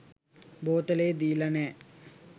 බෝතලේ දීල නෑ.